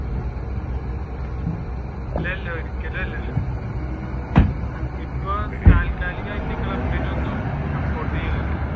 അല്ല അല്ല ഒരിക്കലും അല്ല ഇപ്പൊ താത്കാലികമായിട്ട് ക്ലബിന് ഒന്നും support ചെയ്യുന്നില്ല.